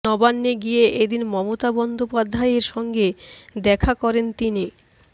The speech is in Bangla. নবান্নে গিয়ে এদিন মমতা বন্দ্যোপাধ্যায়ের সঙ্গে দেখা করেন তিনি